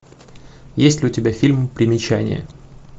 есть ли у тебя фильм примечание